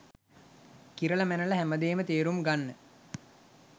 කිරල මැනල හැමදේම තේරුම් ගන්න